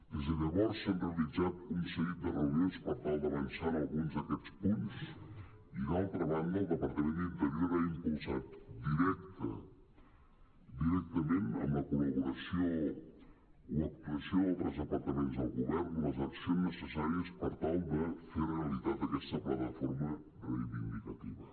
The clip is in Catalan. des de llavors s’han realitzat un seguit de reunions per tal d’avançar en alguns d’aquests punts i d’altra banda el departament d’interior ha impulsat directament amb la col·laboració o actuació d’altres departaments del govern les accions neces·sàries per tal de fer realitat aquesta plataforma reivindicativa